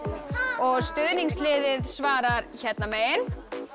og stuðningsliðið svarar hérna megin